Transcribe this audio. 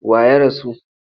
Wa ya rasu?